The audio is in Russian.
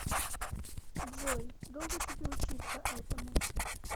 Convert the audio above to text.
джой долго тебе учиться этому